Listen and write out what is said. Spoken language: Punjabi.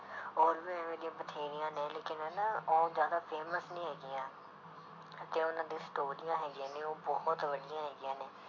ਹੋਰ ਵੀ ਇਵੇਂ ਦੀਆਂ ਬਥੇਰੀਆਂ ਨੇ ਲੇਕਿੰਨ ਹਨਾ ਉਹ ਜ਼ਿਆਦਾ famous ਨੀ ਹੈਗੀਆਂ ਤੇ ਉਹਨਾਂ ਦੀ ਸਟੋਰੀਆਂ ਹੈਗੀਆਂ ਨੇ ਉਹ ਬਹੁਤ ਵਧੀਆ ਹੈਗੀਆਂ ਨੇ।